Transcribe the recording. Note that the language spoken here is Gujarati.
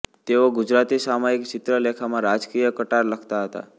તેઓ ગુજરાતી સામાયિક ચિત્રલેખામાં રાજકીય કટાર લખતા હતા